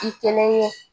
I kelen ye